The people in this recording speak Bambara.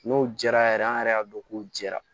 N'o jɛra yɛrɛ an yɛrɛ y'a dɔn k'o jɛra